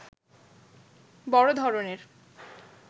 বড় ধরনের